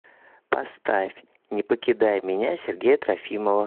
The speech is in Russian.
поставь не покидай меня сергея трофимова